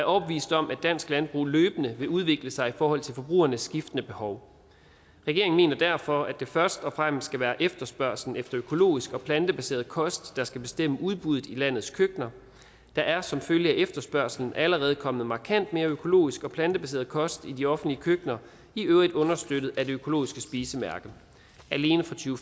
overbevist om at dansk landbrug løbende vil udvikle sig i forhold til forbrugernes skiftende behov regeringen mener derfor at det først og fremmest skal være efterspørgslen efter økologisk og plantebaseret kost der skal bestemme udbuddet i landets køkkener der er som følge af efterspørgslen allerede kommet markant mere økologisk og plantebaseret kost i de offentlige køkkener i øvrigt understøttet af det økologiske spisemærke alene fra to